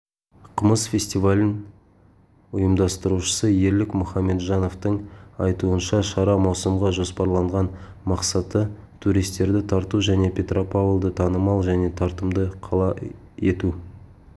кымыз фестивалін ұйымдастырушысы ерлік мұхамеджановтың айтуынша шара маусымға жоспарланған мақсаты туристерді тарту және петропавлды танымал және тартымды қала ету